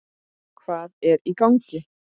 Hvað er í gangi?